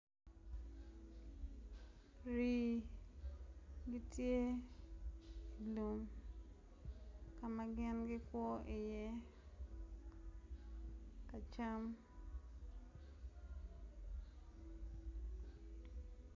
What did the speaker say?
Rii gitye no magin gikwo i ye kacam.